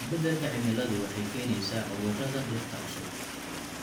Isbeddelka cimiladu waxay keenaysaa cudurrada dhirta cusub.